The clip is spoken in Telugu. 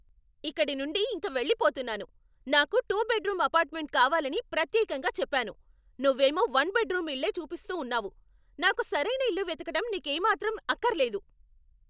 ఇక్కడి నుండి ఇంక వెళ్ళిపోతున్నాను. నాకు టూ బెడ్రూమ్ అపార్ట్మెంట్ కావాలని ప్రత్యేకంగా చెప్పాను, నువ్వేమో వన్ బెడ్రూమ్ ఇళ్ళే చూపిస్తూ ఉన్నావు. నాకు సరైన ఇల్లు వెతకటం నీకేమాత్రం అక్కర్లేదు.